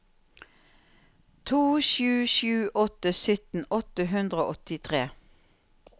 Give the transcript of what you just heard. to sju sju åtte sytten åtte hundre og åttitre